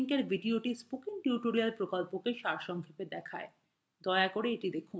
নীচের link video spoken tutorial প্রকল্পকে সারসংক্ষেপে দেখায় দয়া করে the দেখুন